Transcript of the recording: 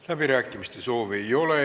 Läbirääkimiste soovi ei ole.